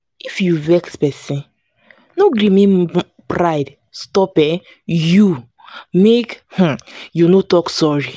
if you vex pesin no gree make pride stop um you make um you no talk sorry.